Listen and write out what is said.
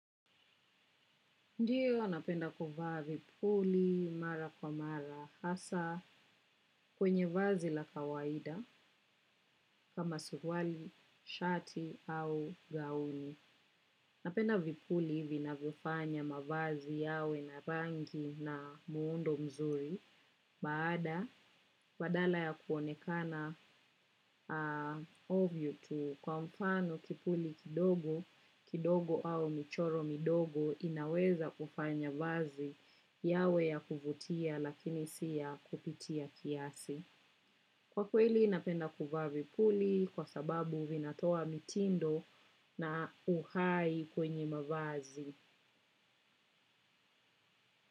Ndio, napenda kuvaa vipuli mara kwa mara hasa kwenye vazi la kawaida kama suruali, shati au gauni. Napenda vipuli hivi vinavyofanya mavazi yawe na rangi na muundo mzuri. Baada, badala ya kuonekana ovyo tu kwa mfano kipuli kidogo, kidogo au michoro midogo inaweza kufanya vazi yawe ya kuvutia lakini si ya kupitia kiasi. Kwa kweli napenda kuvaa vipuli kwa sababu vinatoa mitindo na uhai kwenye mavazi.